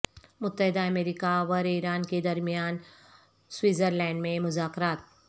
متحدہ امریکہ ور ایران کے درمیان سوئٹزرلینڈ میں مذاکرات